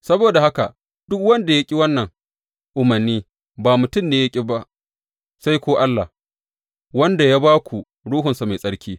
Saboda haka, duk wanda ya ƙi wannan umarni ba mutum ne ya ƙi ba sai ko Allah, wanda ya ba ku Ruhunsa Mai Tsarki.